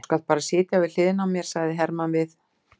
Þú skalt bara sitja við hliðina á mér, sagði Hermann við